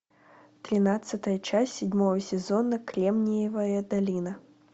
тринадцатая часть седьмого сезона кремниевая долина